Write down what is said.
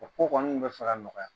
O ko kɔni tun bɛ fɛ ka nɔgɔya